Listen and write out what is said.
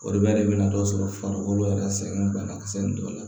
O de bɛ de na dɔ sɔrɔ farikolo yɛrɛ sɛgɛn banakisɛ in dɔw la